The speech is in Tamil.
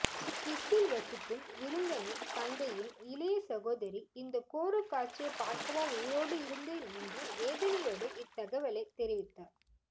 சுவிஸில் வசிக்கும் விருந்தனின் தந்தையின் இளைய சகோதரி இந்தக் கோரக்காட்சியை பார்க்கவா உயிரோடு இருந்தேன் என்று வேதனையோடு இத்தகவலை தெரிவித்தார்